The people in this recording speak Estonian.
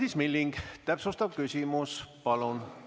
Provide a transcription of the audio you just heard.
Madis Milling, täpsustav küsimus, palun!